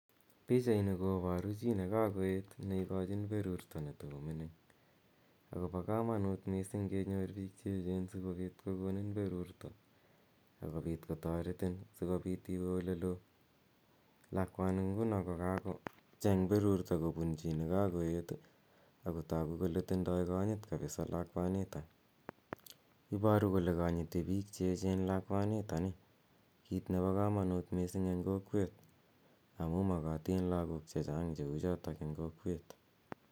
Pichaini koparu chi ne kakoet ne ikachin perurta ne tako mining'. Ako pa kamanut missing' kenyor piik che echen asikopit kokonin perurta akipot kotaretin si kopit iwe ole lo. Lakwani nguni ko kakocheng' perurto kopun chi ne kakoet ako tagu kole tindai kanyit kapis lakwanitok. Iparu kole kanyiti pik che echen lakwanitani, kiit nepo kamanut missing' eng' kokwet amu makatin piik che chang' che u chotok eng' kokewet.